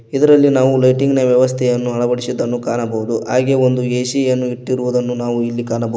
ಇದರಲ್ಲಿ ನಾವು ಲೈಟಿಂಗ್ ನ ವ್ಯವಸ್ಥೆಯನ್ನು ಅಳವಡಿಸಿದ್ದನ್ನು ಕಾಣಬಹುದು ಹಾಗೆ ಒಂದು ಎ_ಸಿ ಅನ್ನು ಇಟ್ಟಿರುದನ್ನು ನಾವು ಇಲ್ಲಿ ಕಾಣಬೋ--